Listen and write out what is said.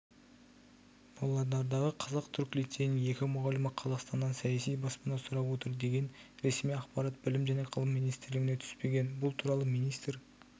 павлодардағы қазақ-түрік лицейінің екі мұғалімі қазақстаннан саяси баспана сұрап отыр деген ресми ақпарат білім және ғылым министрлігіне түспеген бұл туралы министр